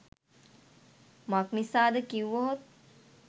මක්නිසාද කිවහොත්